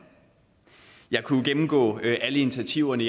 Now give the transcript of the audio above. jeg kunne gennemgå alle initiativerne